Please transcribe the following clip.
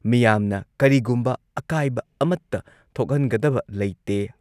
ꯃꯤꯌꯥꯝꯅ ꯀꯔꯤꯒꯨꯝꯕ ꯑꯀꯥꯏꯕ ꯑꯃꯠꯇ ꯊꯣꯛꯍꯟꯒꯗꯕ ꯂꯩꯇꯦ